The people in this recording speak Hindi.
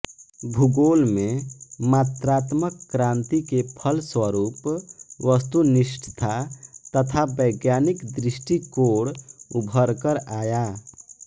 भूगोल में मात्रात्मक क्रांति के फलस्वरूप वस्तुनिष्ठता तथा वैज्ञानिक दृष्टिकोण उभर कर आया